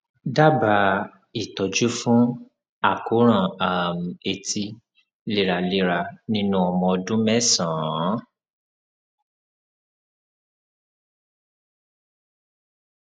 dábàá ìtọjú fún àkóràn um etí léraléra nínú ọmọ ọdún mẹsànán